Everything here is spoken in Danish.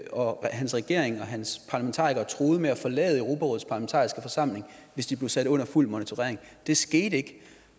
og hans regering og hans parlamentarikere har truet med at forlade europarådets parlamentariske forsamling hvis de blev sat under fuld monitorering det skete ikke